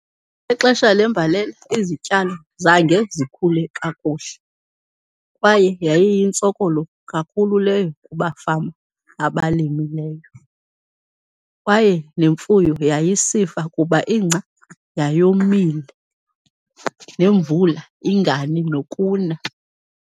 Ngexesha lembalela, izityalo zange zikhule kakuhle kwaye yayiyintsokolo kakhulu leyo kubafama abalimileyo, kwaye nemfuyo yayisifa kuba ingca yayomile nemvula ingani nokuna.